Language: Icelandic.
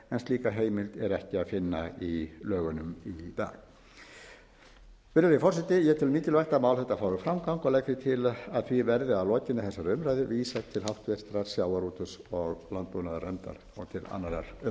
slíka heimild er ekki að finna í lögunum í dag virðulegi forseti ég tel mikilvægt að mál þetta fái framgang og legg því til að því verði að lokinni þessari umræðu vísað til háttvirtrar sjávarútvegs og landbúnaðarnefndar og til annarrar umræðu